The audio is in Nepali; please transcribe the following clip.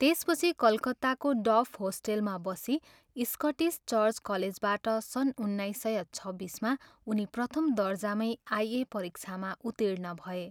त्यसपछि कलकत्ताको डफ होस्टेलमा बसी स्कटिस चर्च कलेजबाट सन् उन्नाइस सय छब्बिसमा उनी प्रथम दर्जामै आई.ए. परीक्षामा उत्तीर्ण भए।